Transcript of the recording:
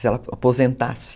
Se ela aposentasse.